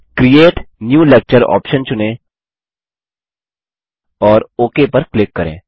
अब create new lecture option चुनें और ओक पर क्लिक करें